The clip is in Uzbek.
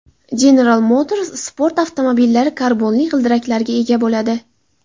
General Motors sport avtomobillari karbonli g‘ildiraklarga ega bo‘ladi.